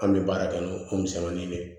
An bɛ baara kɛ n'o o misɛnmanin de ye